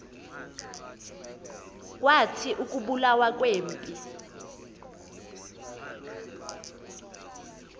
kwathi ukubulawa kwempi